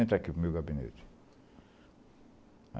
Entra aqui para o meu gabinete.